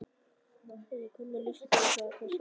Egill hvernig líst þér á þessa stöðu?